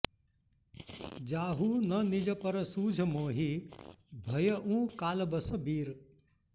जाहु न निज पर सूझ मोहि भयउँ कालबस बीर